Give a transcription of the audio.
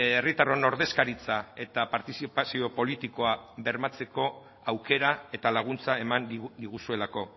herritarron ordezkaritza eta partizipazio politikoa bermatzeko aukera eta laguntza eman diguzuelako